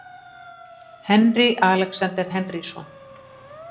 Henry Alexander Henrysson.